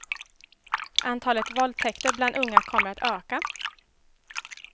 Antalet våldtäkter bland unga kommer att öka.